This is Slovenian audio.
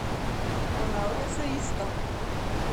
Ponavlja se isto.